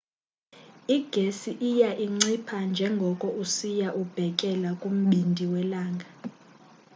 igesi iya incipha njengoko usiya ubhekela kumbindi welanga